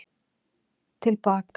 Til baka